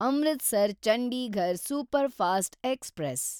Amritsar Chandigarh superfast express